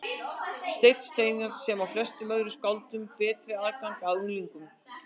Stein Steinarr, sem á flestum öðrum skáldum betri aðgang að unglingum.